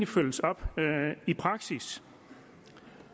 følges op i praksis